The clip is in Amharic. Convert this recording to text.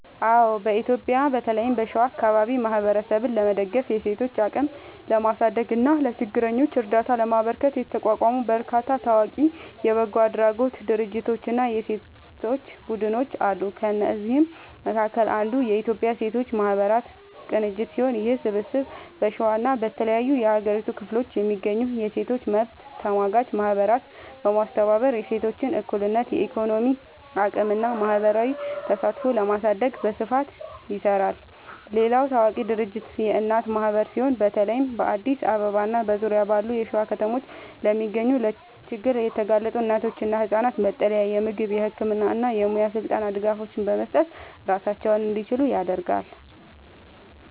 አዎ፣ በኢትዮጵያ በተለይም በሸዋ አካባቢ ማህበረሰብን ለመደገፍ፣ የሴቶችን አቅም ለማሳደግ እና ለችግረኞች እርዳታ ለማበርከት የተቋቋሙ በርካታ ታዋቂ የበጎ አድራጎት ድርጅቶችና የሴቶች ቡድኖች አሉ። ከእነዚህም መካከል አንዱ የኢትዮጵያ ሴቶች ማህበራት ቅንጅት ሲሆን፣ ይህ ስብስብ በሸዋና በተለያዩ የሀገሪቱ ክፍሎች የሚገኙ የሴቶች መብት ተሟጋች ማህበራትን በማስተባበር የሴቶችን እኩልነት፣ የኢኮኖሚ አቅምና ማህበራዊ ተሳትፎ ለማሳደግ በስፋት ይሰራል። ሌላው ታዋቂ ድርጅት የእናት ማህበር ሲሆን፣ በተለይ በአዲስ አበባና በዙሪያዋ ባሉ የሸዋ ከተሞች ለሚገኙ ለችግር የተጋለጡ እናቶችና ህጻናት መጠለያ፣ የምግብ፣ የህክምና እና የሙያ ስልጠና ድጋፎችን በመስጠት ራሳቸውን እንዲችሉ ያደርጋል።